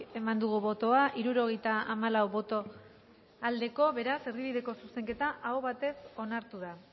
eman dugu bozka hirurogeita hamalau boto aldekoa beraz erdibideko zuzenketa aho batez onartu da